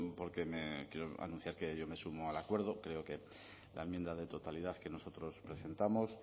porque quiero anunciar que yo me sumo al acuerdo creo que la enmienda de totalidad que nosotros presentamos